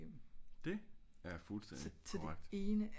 det er fuldstændig korrekt